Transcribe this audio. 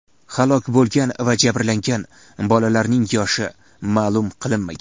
Halok bo‘lgan va jabrlangan bolalarning yoshi ma’lum qilinmagan.